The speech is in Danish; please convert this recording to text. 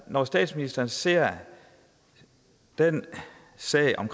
når statsministeren ser den sag om